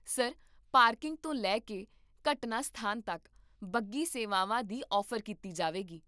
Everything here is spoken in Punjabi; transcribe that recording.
ਸਰ, ਪਾਰਕਿੰਗ ਤੋਂ ਲੈ ਕੇ ਘਟਨਾ ਸਥਾਨ ਤੱਕ, ਬੱਗੀ ਸੇਵਾਵਾਂ ਦੀ ਔਫ਼ਰ ਕੀਤੀ ਜਾਵੇਗੀ